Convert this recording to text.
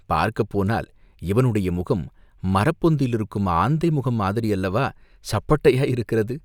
பார்க்கப் போனால் இவனுடைய முகம் மரப்பொந்தில் இருக்கும் ஆந்தை முகம் மாதிரியல்லவா சப்பட்டையாயிருக்கிறது?